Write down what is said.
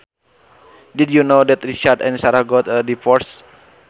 Did you know that Richard and Sarah got a divorce